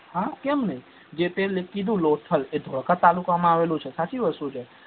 હા કેમ નઈ જે તે કીધુ લોથલ જે ધોળકા તાલુકા માં આવેલું છે સાચી વસ્તુ છે